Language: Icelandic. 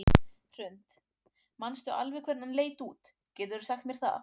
Hrund: Manstu alveg hvernig hann leit út, geturðu sagt mér það?